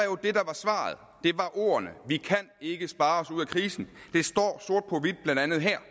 ordene vi kan ikke spare os ud af krisen det står blandt andet her